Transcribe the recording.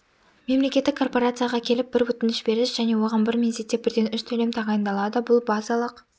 мемлекеттік корпорацияға келіп бір өтініш бересіз және оған бір мезетте бірден үш төлем тағайындалады бұл базалық